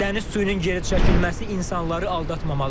Dəniz suyunun geri çəkilməsi insanları aldatmamalıdır.